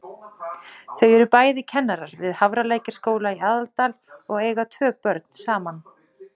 Þau eru bæði kennarar við Hafralækjarskóla í Aðaldal og eiga tvö börn saman.